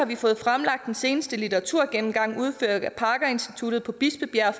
vi fået fremlagt den seneste litteraturgennemgang udført af parker instituttet på bispebjerg